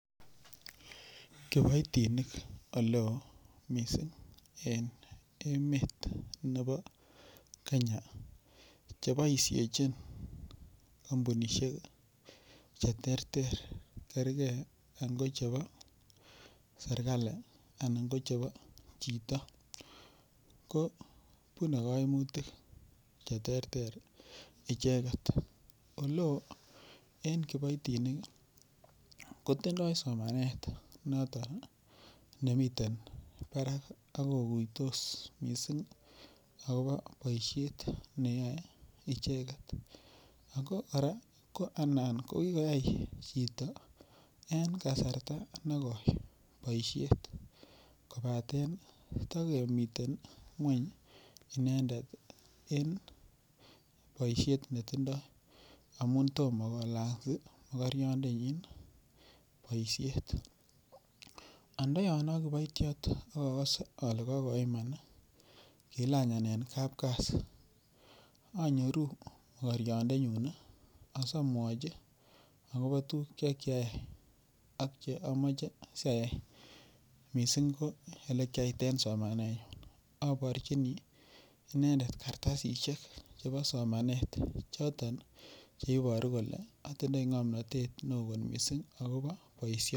Kiboitinik ole oo mising' en emet nebo Kenya cheboishechin kampunishek cheterter kerikei angochebo serikali anan ko chebo chito ko bunei kaimutik cheterter icheget ole oo en kiboitinik kotindoi somanet noton nemiten barak akokuitos mising' akobo boishet neyoei icheget ako kora ko anan ko kikoyai chito en kasarta negoi boishet kobaten tekemiten ng'weny inendet en boishet netindoi amu tomo kolany mokoriondenyin boishet anda yon aa kiboitiot akose ale kakoiman kilanyan en kapkasi anyoru mokoriondenyun asamwochi akobo tukuk chekiayai ak che amoche siayai mising' ko ole kiat eng' somanet aborjini inendet karitasishek chebo somanet choton cheiboru kole atindoi ng'omnotet ne oo kot mising' akobo boishio